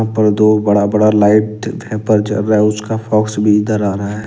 और दो बड़ा बड़ा लाइट वेपर जल रहा है उसका फॉक्स भी इधर आ रहा है।